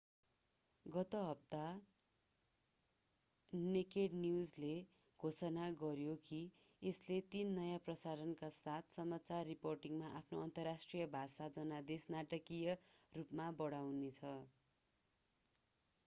गत हप्ता नेकेड न्यूजले घोषणा गर्‍यो कि यसले तीन नयाँ प्रसारणका साथ समाचार रिपोर्टिंगमा आफ्नो अन्तर्राष्ट्रिय भाषा जनादेश नाटकीय रूपमा बढाउनेछ।